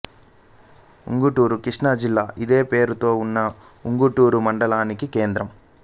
ఉంగుటూరు కృష్ణా జిల్లా ఇదే పేరుతో ఉన్న ఉంగుటూరు మండలానికి కేంద్రం